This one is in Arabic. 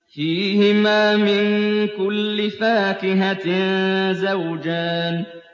فِيهِمَا مِن كُلِّ فَاكِهَةٍ زَوْجَانِ